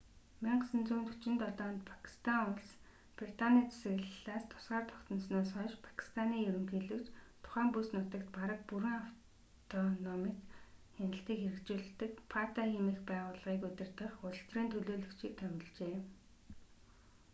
1947 онд пакистан улс британий засаглалаас тусгаар тогтносноос хойш пакистаны ерөнхийлөгч тухайн бүс нутагт бараг бүрэн автономит хяналтыг хэрэгжүүлдэг фата хэмээх байгууллагыг удирдах улс төрийн төлөөлөгч"-ийг томилжээ